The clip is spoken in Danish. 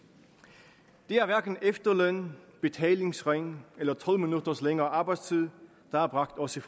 er det er hverken efterløn betalingsring eller tolv minutters længere arbejdstid der har bragt os i